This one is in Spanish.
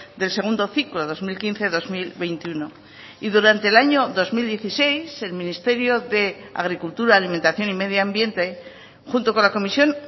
del segundo ciclo dos mil quince dos mil veintiuno y durante el año dos mil dieciséis el ministerio de agricultura alimentación y medio ambiente junto con la comisión